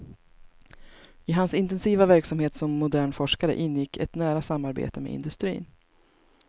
I hans intensiva verksamhet som modern forskare ingick ett nära samarbete med industrin.